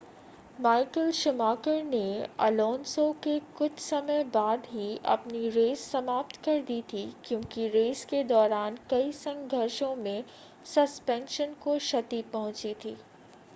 Michael Schumacher ने Alonso के कुछ समय बाद ही अपनी रेस समाप्त कर दी थी कयोंकि रेस के दौरान कई संघर्षों में सस्पेंशन को क्षति पहुंची थी